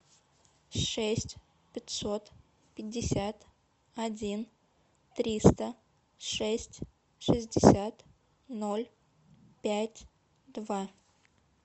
шесть пятьсот пятьдесят один триста шесть шестьдесят ноль пять два